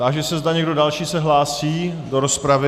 Táži se, zda někdo další se hlásí do rozpravy.